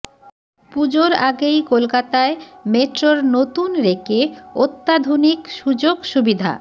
পুজোর আগেই কলকাতায় মেট্রোর নতুন রেকে অত্যাধুনিক সুযোগ সুবিধা